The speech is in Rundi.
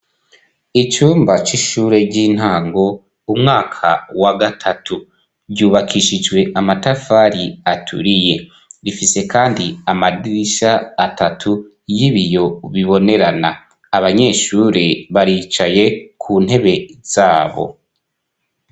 Icumba c'ishure ry'intango umwaka wa gatatu; ryubakishijwe amatafari aturiye. Rifise kandi amadirisha atatu y'ibiyo bibonerana. Abanyeshure baricaye ku ntebe zabo.